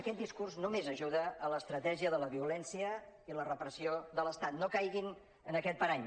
aquest discurs només ajuda a l’estratègia de la violència i la repressió de l’estat no caiguin en aquest parany